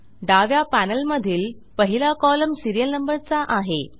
डाव्या पॅनेलमधील पहिला कॉलम सीरियल नंबर चा आहे